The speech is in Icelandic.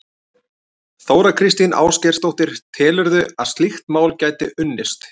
Þóra Kristín Ásgeirsdóttir: Telurðu að slíkt mál gæti unnist?